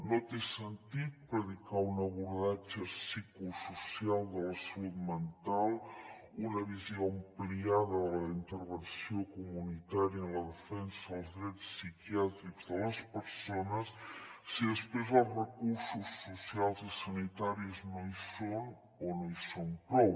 no té sentit predicar un abordatge psicosocial de la salut mental una visió ampliada de la intervenció comunitària en la defensa dels drets psiquiàtrics de les persones si després els recursos socials i sanitaris no hi són o no hi són prou